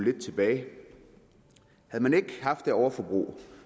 lidt tilbage havde man ikke haft det overforbrug